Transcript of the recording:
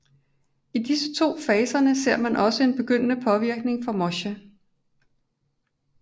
I disse to faserne ser man også en begyndende påvirkning fra moche